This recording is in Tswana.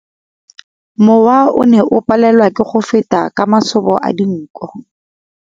Mowa o ne o palelwa ke go feta ka masoba a dinko.